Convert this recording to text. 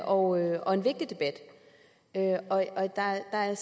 og og en vigtig debat der er